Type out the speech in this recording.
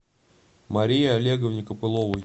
марии олеговне копыловой